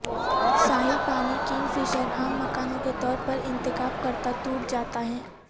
ساحل پانی کنگفشر عام مکانوں کے طور انتخاب کرتا ٹوٹ جاتا ہے